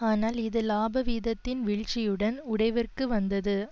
ஆனால் இது இலாப வீதத்தின் வீழ்ச்சியுடன் உடைவிற்கு வந்தது